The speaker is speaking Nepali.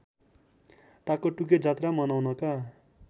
टाकटुके जात्रा मनाउनका